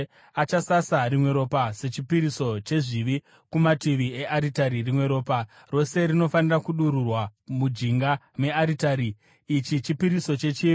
Achasasa rimwe ropa rechipiriso chezvivi kumativi earitari, rimwe ropa rose rinofanira kudururwa mujinga mearitari. Ichi chipiriso chechivi.